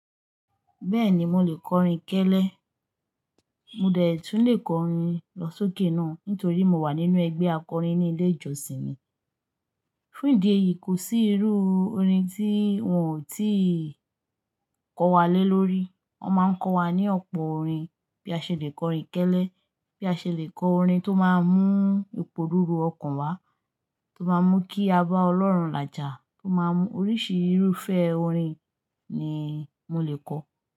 Bẹ́ẹ̀ni mo lè kọ orin kélé, mo dẹ̀ tún lè kọ orin lọ sókè náà nítorí mo wà nínú ẹgbẹ́ akọrin ní ilé ìjọsìn mi. Fún ìdí èyí kò sí irú orin tí wọ́n ò tíì kọ wa lé lórí. Wọ́n máa ń kọ́ wa ní ọ̀pọ̀ orin bí a ṣe le kọrin kélé, bí a ṣe le kọ orin tó máa ń mú ìpò rúru ọkàn wá, tó máa ń mú kí a bá Ọlọ́run làjà, tó máa ń mú oríṣi irúfẹ́ orin ni mo lè kọ.